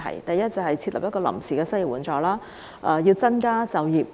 首先，應設立臨時失業援助，增加就業，